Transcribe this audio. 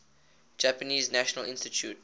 japanese national institute